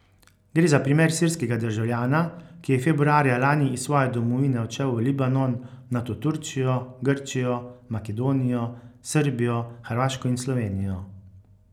Gre za primer sirskega državljana, ki je februarja lani iz svoje domovine odšel v Libanon, nato Turčijo, Grčijo, Makedonijo, Srbijo, Hrvaško in Slovenijo.